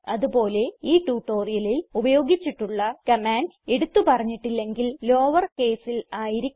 അത് പോലെ ഈ ട്യൂട്ടോറിയലിൽ ഉപയോഗിച്ചിട്ടുള്ള കമാൻഡ്സ് എടുത്ത് പറഞ്ഞിട്ടില്ലെങ്കിൽ ലോവേർ കേസിൽ ആയിരിക്കും